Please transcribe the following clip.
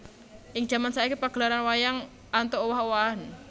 Ing jaman saiki pagelaran wayang antuk owah owahan